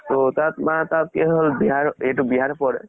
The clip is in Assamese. ত তাত মাত কি হল বিহাৰ, এইটো বিহাৰ পৰে